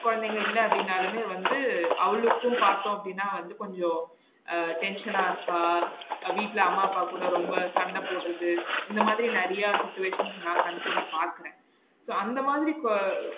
கொழந்தைங்க இல்ல அப்படினாலுமே வந்து அவளுக்கும் பாத்தோம் அப்டினா வந்து கொஞ்சம் அஹ் tension னா இருக்கா? வீட்ல அம்மா அப்பா கூட ரொம்ப சண்ட போடுறது இந்த மாதிரி நெறைய situation நா கண்கூட பாக்குறன so அந்த மாதிரி கொ